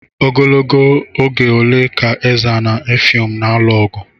Ogologo oge ole ka Ezza na Effium na-alụ ogu?